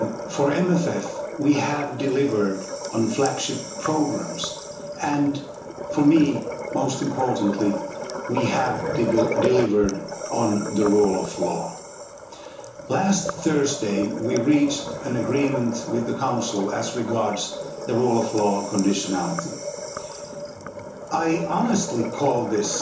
For the MFF, we have delivered on flagship programmes and, for me, most importantly, we have delivered on the rule of law. Last Thursday, we reached an agreement with the Council as regards the rule of law conditionality. I honestly call this